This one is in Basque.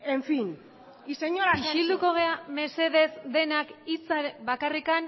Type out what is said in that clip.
en fin y señora sánchez isilduko gara mesedez denak hitza bakarrik